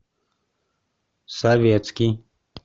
советский